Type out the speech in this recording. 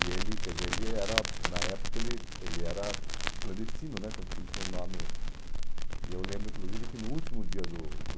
E ele, quer dizer, ele era, na época ele ele era clandestino né, tanto que ele tinha um nome... E eu lembro, inclusive, que no último dia do do...